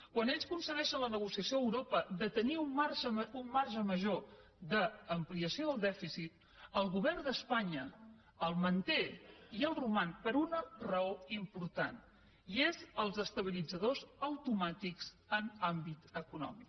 quan ells aconsegueixen la negociació a europa de tenir un marge major d’ampliació del dèficit el govern d’espanya el manté i el roman per una raó important i són els estabilitzadors automàtics en àmbit econòmic